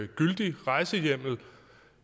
gyldigt rejsehjemmel